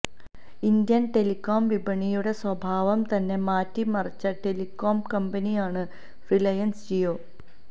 Indian telecom വിപണിയുടെ സ്വഭാവം തന്നെ മാറ്റിമറിച്ച ടെലിക്കോം കമ്പനിയാണ് റിലയൻസ് ജിയോ